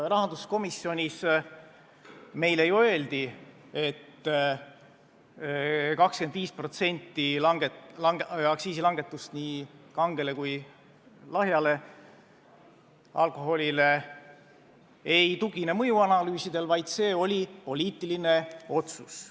Rahanduskomisjonis meile öeldi, et 25% aktsiisilangetust nii kangel kui lahjal alkoholil ei tugine mõjuanalüüsidele, vaid see on poliitiline otsus.